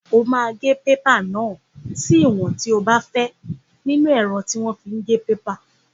O máa gé pépà náà sí ìwọ̀n tí o bá fẹ́ nínú ẹ̀rọ tí wọ́n fi ń gé pépà.